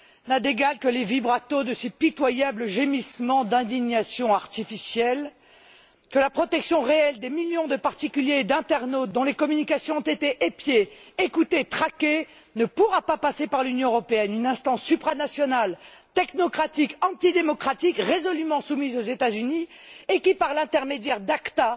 n'a d'égal que les vibratos de ses pitoyables gémissements d'indignations artificiels, que la protection réelle des millions de particuliers et d'internautes, dont les communications ont été épiées, écoutées, traquées, ne pourra pas passer par l'Union européenne une instance supranationale, technocratique, antidémocratique, résolument soumise aux États Unis et qui, par l'intermédiaire d'ACTA,